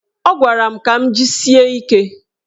Ọ gwara m ka m jisie ike.